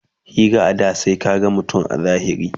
Hira a da sai ka gan mutum a zahiri